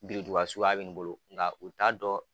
Birintuba suya bɛ n bolo nka u t'a dɔn.